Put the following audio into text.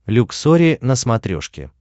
люксори на смотрешке